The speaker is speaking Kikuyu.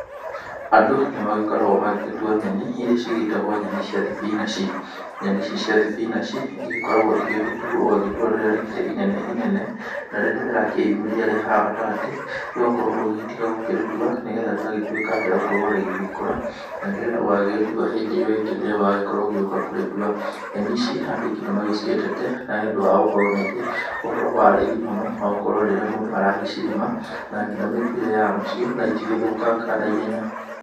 Andũ nĩmagĩkoragwo magĩgĩtua nyeni; iria cigĩtagwo nyeni thia thibinaci. Nyeni ici cia thibinaci igĩkoragwo igĩgĩtuo ũgagĩtua rĩrĩa rĩkĩrĩ inene inene, na rĩrĩa rĩrakĩyumĩria rĩ haha gatagatĩ ũgakorwo ũgĩgĩtiga gũkĩrĩtwa nĩ getha rĩgagĩtwĩka rĩa gũkorwo rĩrĩgũka na nĩ getha ũgagĩgĩtua hĩndĩ ĩyo ĩngĩ rĩrĩa ũgagĩkorwo ũgĩũka kũrĩtua. Nyeni ici andũ aingĩ nĩmagĩciendete, na nĩ ũndũ wa gũkorwo nĩirĩ ũhoro wa raithi mũno wa gũkorwo rĩrĩa mũndũ aragĩcirĩma, na nginya mĩtwĩre yacio, na itigĩthũkangaga na ihenya.